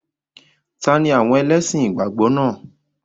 Ta ni àwọn ẹlẹ́sìn ìgbàgbọ́ náà?